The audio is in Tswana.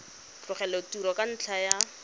tlogela tiro ka ntlha ya